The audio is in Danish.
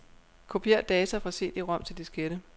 Kopier data fra cd-rom til diskette.